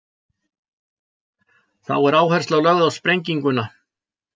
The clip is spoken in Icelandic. Þá er áhersla lögð á sprenginguna.